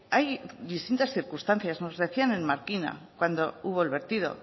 hay distintas circunstancias nos decían en markina cuando hubo el vertido